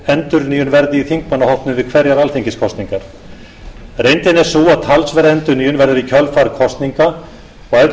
endurnýjun verði í þingmannahópnum við hverjar alþingiskosningar reyndin er sú að talsverð endurnýjun verður í kjölfar kosninga og ef til vill meiri